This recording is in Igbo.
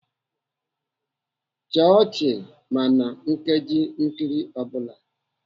Chịa ọchị ma na nkeji nkiri ọ bụla!